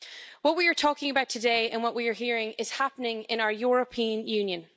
What we are talking about today and what we are hearing is happening in our European Union.